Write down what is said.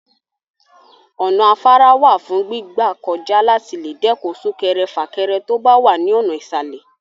Ọ̀nà afárá wà fún gbígbà kọjá láti lè dẹ́kun sún-kẹrẹ-fà-kẹre tó bá wà ní ọ̀nà ìsàlè.